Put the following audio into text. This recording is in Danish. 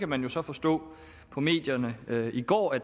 man kan så forstå på medierne i går at